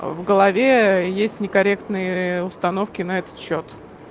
в голове есть некорректные установки на этот счёт